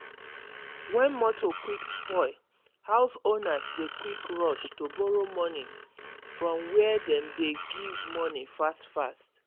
when motor quick spoil house owners dey quick rush to borrow money from were dem dey give money fast fast.